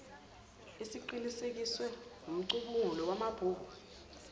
esiqinisekiswe ngumcubunguli wamabhuku